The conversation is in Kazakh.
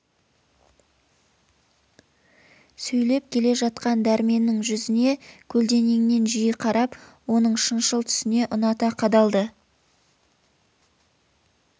сөйлеп келе жатқан дәрменнің жүзіне көлденеңнен жиі қарап оның шыншыл түсіне ұната қадалды